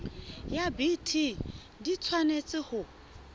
ya bt di tshwanetse ho